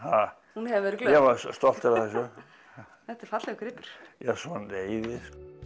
hún hefur verið glöð ég var stoltur af þessu þetta er fallegur gripur já svoleiðis